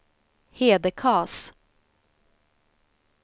Hedekas